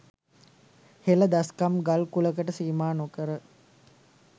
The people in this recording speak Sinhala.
හෙළ දස්කම් ගල් කුලකට සීමා නොකර